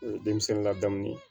O ye denmisɛnnin ladamu de ye